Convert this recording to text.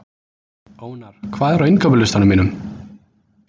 Ónar, hvað er á innkaupalistanum mínum?